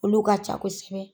Olu ka ca kosɛbɛ.